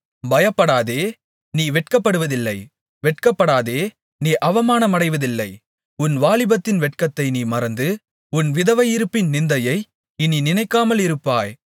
பயப்படாதே நீ வெட்கப்படுவதில்லை வெட்கப்படாதே நீ அவமானமடைவதில்லை உன் வாலிபத்தின் வெட்கத்தை நீ மறந்து உன் விதவையிருப்பின் நிந்தையை இனி நினைக்காமலிருப்பாய்